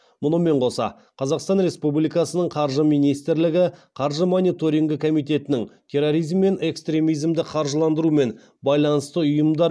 мұнымен қоса қазақстан республикасының қаржы министрлігі қаржы мониторингі комитетінің терроризм мен экстремизмді қаржыландырумен байланысты ұйымдар